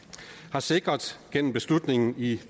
har sikret gennem beslutningen i